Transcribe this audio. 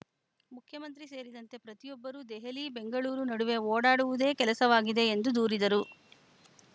ಮುಖ್ಯಮಂತ್ರಿ ಸೇರಿದಂತೆ ಪ್ರತಿಯೊಬ್ಬರೂ ದೆಹಲಿಬೆಂಗಳೂರು ನಡುವೆ ಓಡಾಡುವುದೇ ಕೆಲಸವಾಗಿದೆ ಎಂದು ದೂರಿದರು